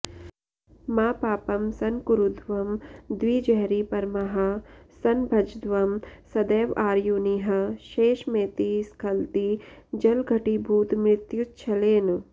मा पापं संकुरुध्वं द्विजहरिपरमाः संभजध्वं सदैव आयुर्निः शेषमेति स्खलति जलघटीभूतमृत्युच्छलेन